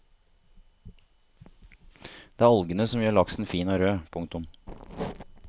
Det er algene som gjør laksen fin og rød. punktum